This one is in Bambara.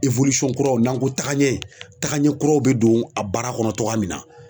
kuraw n'an ko tagaɲɛ tagaɲɛ kuraw bɛ don, a baara kɔnɔ cogoya min na.